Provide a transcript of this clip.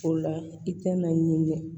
O la i tɛna ɲini